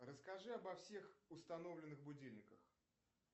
расскажи обо всех установленных будильниках